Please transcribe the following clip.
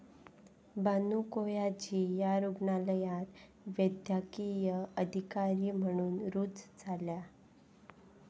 बानू कोयाजी या रुग्णालयात वैद्यकीय अधिकारी म्हणून रुजू झाल्या.